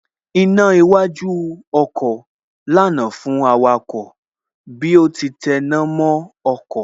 Iná iwájú ọkọ̀ lànà fún awakọ̀ bí ó ti tẹná mọ́ ọkọ̀